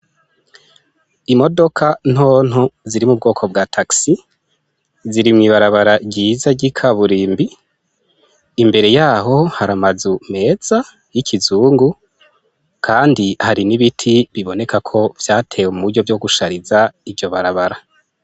Imodoka ntonto ziri mu bwoko bwa tagisi ziri mw'ibarabara ryiza ry'i kaburimbi, imbere yaho hari amazu meza y'ikizungu, kandi hari n'ibiti biboneka ko vyatewe mu buryo vyo gushariza iryo barabara.